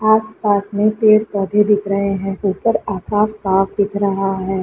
आसपास में पेड़-पौधे दिख रहे है ऊपर आकाश साफ़ दिख रहा है।